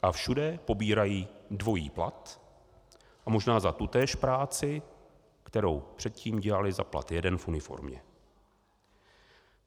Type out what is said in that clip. A všude pobírají dvojí plat, možná za tutéž práci, kterou předtím dělali za plat jeden v uniformě.